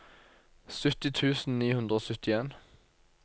sytti tusen ni hundre og syttien